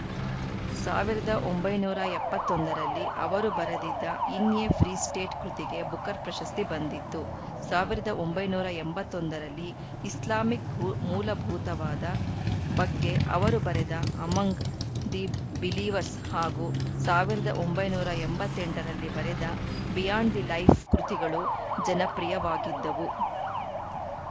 ಸಾವಿರದ ಒಂಬೈನೂರ ಎಪ್ಪತ್ತ್ ಒಂದು ರಲ್ಲಿ ಅವರು ಬರೆದಿದ್ದ ಇನ್‌ ಎ ಫ್ರೀ ಸ್ಟೇಟ್‌ ಕೃತಿಗೆ ಬುಕರ್‌ ಪ್ರಶಸ್ತಿ ಬಂದಿತ್ತು ಸಾವಿರದ ಒಂಬೈನೂರ ಎಂಬತ್ತ್ ಒಂದು ರಲ್ಲಿ ಇಸ್ಲಾಮಿಕ್‌ ಭೂ ಮೂಲಭೂತವಾದ ಬಗ್ಗೆ ಅವರು ಬರೆದ ಅಮಂಗ್‌ ದ ಬಿಲೀವರ್ಸ್‌ ಹಾಗೂ ಸಾವಿರದ ಒಂಬೈನೂರ ಎಂಬತ್ತ್ ಎಂಟು ರಲ್ಲಿ ಬರೆದ ಬಿಯಾಂಡ್‌ ದ ಲೈಫ್‌ ಕೃತಿಗಳು ಜನಪ್ರಿಯವಾಗಿದ್ದವು